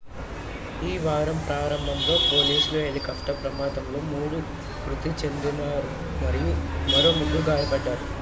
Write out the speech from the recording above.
ఈ వారం ప్రారంభంలో పోలీసు హెలికాప్టర్ ప్రమాదంలో 3 మృతి చెందారు మరియు మరో 3 గాయపడ్డారు